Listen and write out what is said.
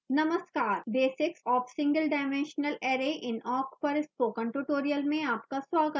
नमस्कार basics of single dimensional array in awk पर spoken tutorial में आपका स्वागत है